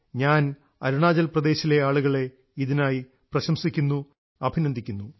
ഞാൻ അരുണാചൽ പ്രദേശിലെ ആളുകളെ ഇതിനായി പ്രശംസിക്കുന്നു അഭിനന്ദിക്കുന്നു